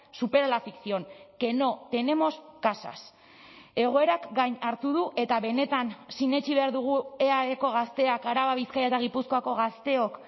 supera la ficción que no tenemos casas egoerak gain hartu du eta benetan sinetsi behar dugu eaeko gazteak araba bizkaia eta gipuzkoako gazteok